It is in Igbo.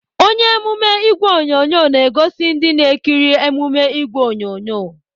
Onye emume ìgwè onyonyo na-egosi ndị na-ekiri emume ìgwè onyonyo